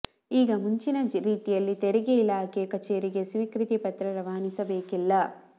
ಈಗ ಮುಂಚಿನ ರೀತಿಯಲ್ಲಿ ತೆರಿಗೆ ಇಲಾಖೆ ಕಚೇರಿಗೆ ಸ್ವೀಕೃತಿ ಪತ್ರ ರವಾನಿಸಬೇಕಿಲ್ಲ